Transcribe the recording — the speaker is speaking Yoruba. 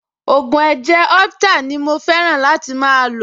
Ògùn ẹ̀jẹ̀ orheptal ni mo fẹ́ràn láti máa lò